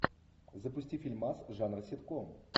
запусти фильмас жанра ситком